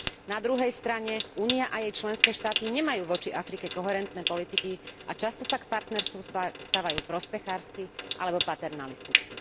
Na druhej strane, Únia a jej členské štáty nemajú voči Afrike koherentné politiky a často sa k partnerstvu stavajú prospechársky alebo paternalisticky.